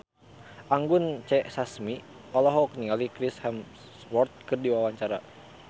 Anggun C. Sasmi olohok ningali Chris Hemsworth keur diwawancara